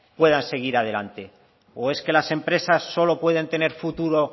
puedan seguir adelante o es que las empresas solo pueden tener futuro